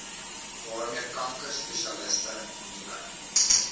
waarmee kankerspesialiste nuwe